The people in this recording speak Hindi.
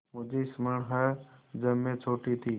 मुझे स्मरण है जब मैं छोटी थी